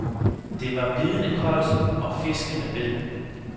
Det var bidende koldt, og fiskene bed.